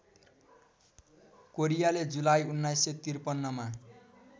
कोरियाले जुलाई १९५३ मा